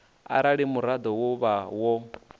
arali muraḓo wo vha wo